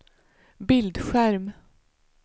bildskärm